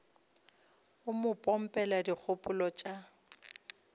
o mo pompela dikgopolo tša